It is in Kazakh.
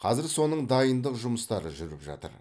қазір соның дайындық жұмыстары жүріп жатыр